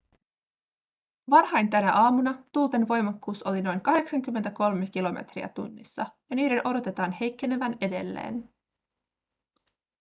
varhain tänä aamuna tuulten voimakkuus oli noin 83 kilometriä tunnissa ja niiden odotetaan heikkenevän edelleen